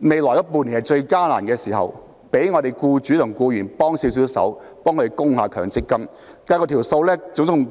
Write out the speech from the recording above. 未來半年最艱難的時刻為僱主及僱員提供協助，代供強積金。